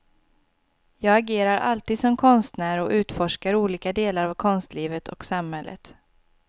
Jag agerar alltid som konstnär och utforskar olika delar av konstlivet och samhället.